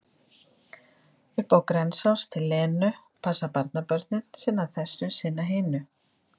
Upp á Grensás til Lenu, passa barnabörnin, sinna þessu, sinna hinu.